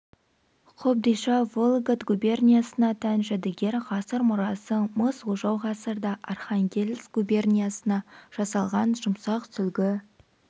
қобдиша вологод губерниясына тән жәдігер ғасыр мұрасы мыс ожау ғасырда архангельск губерниясында жасалған жұмсақ сүлгі